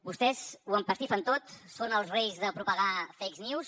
vostès ho empastifen tot són els reis de propagar fake news